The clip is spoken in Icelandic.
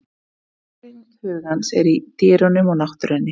Næring hugans er í dýrunum og náttúrunni.